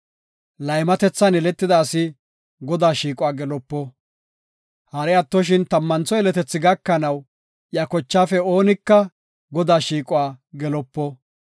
Laymatethan yeletida asi Godaa shiiquwa gelopo. Hari attoshin tammantho yeletethi gakanaw, iya kochaafe oonika Godaa shiiquwa gelopo.